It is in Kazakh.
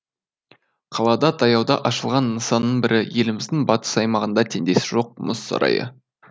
қалада таяуда ашылған нысанның бірі еліміздің батыс аймағында теңдесі жоқ мұз сарайы